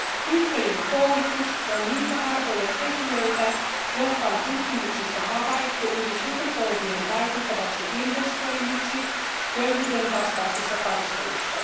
Tyttöjen koulutus on niitä harvoja tekijöitä, jotka on tutkimuksissa havaittu yli sukupolvien vaikuttavaksi investoinniksi köyhyyden vastaisessa taistelussa.